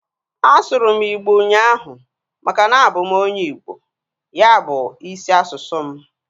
A sụrụ m igbo ụnyaahụ maka na abụ m onye Igbo. Ya bu isi asụsụ m